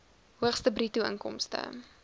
hoogste bruto inkomste